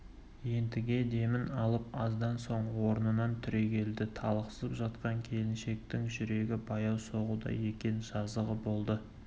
ентіге демін алып аздан соң орнынан түрегелді талықсып жатқан келіншектің жүрегі баяу соғуда екен жазығы болды